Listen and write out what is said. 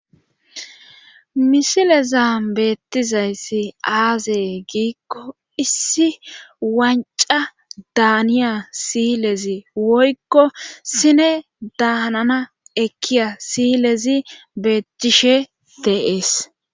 misileza beettizayssi aazee giikko issi wancca daaniya siilezi woykko sineda hanana ekkiya siyilezi beettishe deees.